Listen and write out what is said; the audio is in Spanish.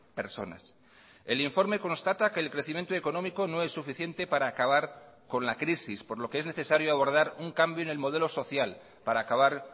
personas el informe constata que el crecimiento económico no es suficiente para acabar con la crisis por lo que es necesario abordar un cambio en el modelo social para acabar